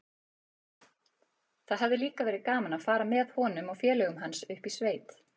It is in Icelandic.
Það hefði líka verið gaman að fara með honum og félögum hans upp í sveit.